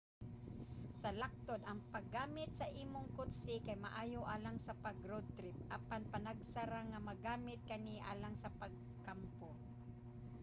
sa laktod ang paggamit sa imong kotse kay maayo alang sa pag-road trip apan panagsa ra nga magamit kani alang sa pagkampo